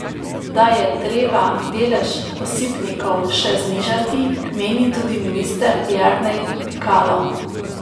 Da je treba delež osipnikov še znižati, meni tudi minister Jernej Pikalo.